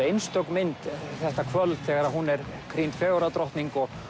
einstök mynd þetta kvöld þegar hún er krýnd fegurðardrottning